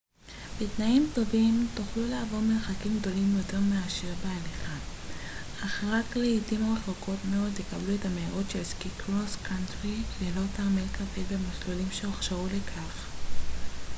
בתנאים טובים תוכלו לעבור מרחקים גדולים יותר מאשר בהליכה אך רק לעתים רחוקות מאוד תקבלו את המהירות של סקי קרוס קאנטרי ללא תרמיל כבד במסלולים שהוכשרו לכך